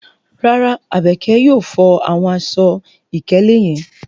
Rara, Abeke yóò fo awọn aṣọ-ikele yẹn